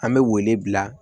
An bɛ wele bila